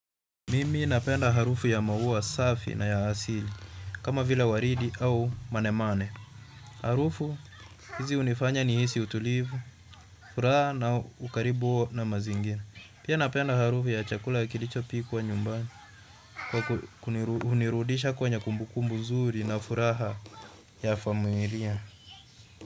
Mimi napenda harufu ya maua safi na ya asili kama vile waridi au manene. Harufu, hizi hunifanya ni hizi utulivu, furaha na ukaribu na mazingira. Pia napenda harufu ya chakula kilicho pikwa nyumbani, kwa kunirudisha kwenye kumbu kumbu nzuri na furaha ya familia.